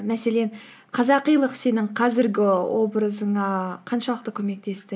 мәселен қазақилық сенің қазіргі образыңа қаншалықты көмектесті